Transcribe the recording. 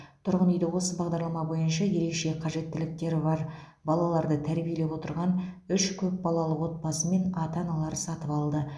тұрғын үйді осы бағдарлама бойынша ерекше қажеттіліктері бар балаларды тәрбиелеп отырған үш көпбалалы отбасы мен ата аналары сатып алды